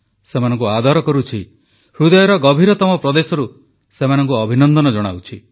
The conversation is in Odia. ସେମାନଙ୍କୁ ଆଦର କରୁଛି ହୃଦୟର ଗଭୀରତମ ପ୍ରଦେଶରୁ ସେମାନଙ୍କୁ ଅଭିନନ୍ଦନ ଜଣାଉଛି